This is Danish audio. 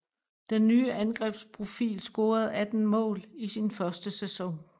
Den nye angrebsprofil scorede 18 mål i sin første sæson